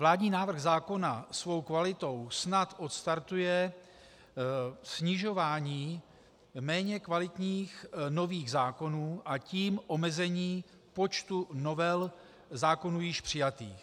Vládní návrh zákona svou kvalitou snad odstartuje snižování méně kvalitních nových zákonů, a tím omezení počtu novel zákonů již přijatých.